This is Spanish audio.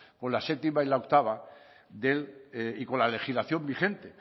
con la séptima y la octava del y con la legislación vigente